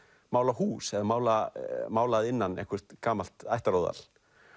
mála hús eða mála mála að innan eitthvert gamalt ættaróðal